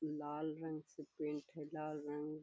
लाल रंग से पेंट है लाल रंग --